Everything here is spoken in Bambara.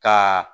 Ka